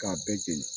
K'a bɛɛ jeni